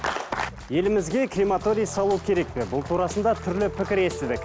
елімізге крематорий салу керек пе бұл турасында түрлі пікір естідік